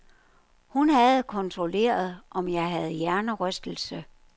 Hun havde kontrolleret, om jeg havde hjernerystelse.